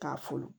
K'a furu